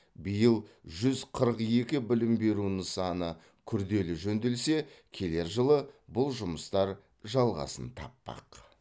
биыл жүз қырық екі білім беру нысаны күрделі жөнделсе келер жылы бұл жұмыстар жалғасын таппақ